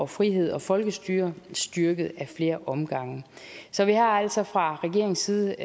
frihed og folkestyre styrket ad flere omgange så vi har altså fra regeringens side